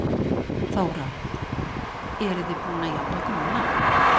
Þóra: Eruð þið búin að jafna ykkur núna?